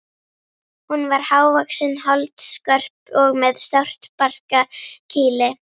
Hún var hávaxin, holdskörp og með stórt barkakýli.